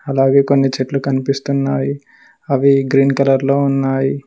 అలాగే కొన్ని చెట్లు కనిపిస్తున్నావి అవి గ్రీన్ కలర్ లో ఉన్నాయి.